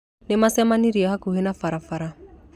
Nĩ maacemanirie hakuhĩ na barabara.